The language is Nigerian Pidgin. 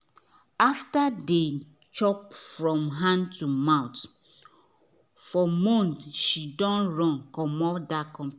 after deh chop from hand to mouth for month she don run commot that company